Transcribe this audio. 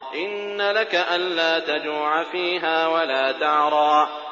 إِنَّ لَكَ أَلَّا تَجُوعَ فِيهَا وَلَا تَعْرَىٰ